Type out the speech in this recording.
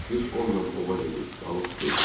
Biz onunla ova gedir, balıq tuturduq.